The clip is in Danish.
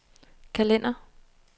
kalender